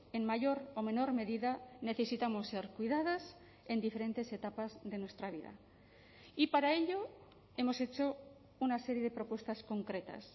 en mayor o menor medida necesitamos ser cuidadas en diferentes etapas de nuestra vida y para ello hemos hecho una serie de propuestas concretas